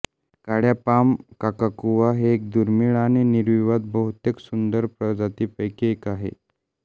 काळ्या पाम काकाकुवा हे एक दुर्मिळ आणि निर्विवाद बहुतेक सुंदर प्रजातींपैकी एक आहे